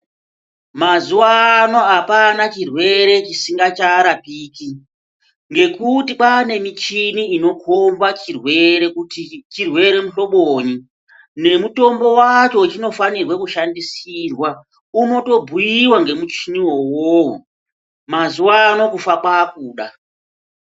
Mazuvano hapana chirwere chisngacharapiki ngekuti kwane michini inokomba chirwere kuti chirwere muhloboni nemutombo wacho wachinofanirwe kushandisirwa unotobhuyiwa nemuchini wowo, mazuvano kufa kwakuda.